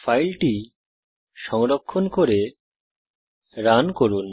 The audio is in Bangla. ফাইলটি সংরক্ষণ করে রান করুন